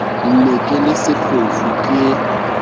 ne ke le sefofu ke